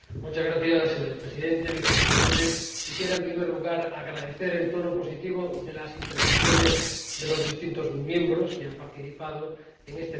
Señor Presidente, señor Vicepresidente, quisiera, en primer lugar, agradecer el tono positivo de las intervenciones de los distintos diputados que han participado en este debate.